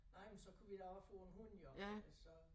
Nej men så kunne vi da også få en hund jo for så